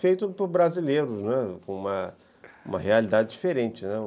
feito por brasileiros, né, com uma uma realidade diferente, né.